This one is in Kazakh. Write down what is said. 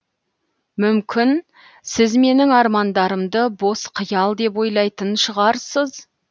мүмкін сіз менің армандарымды бос қиял деп ойлайтын шығарсыз